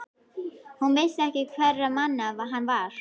Hún vissi ekki hverra manna hann var.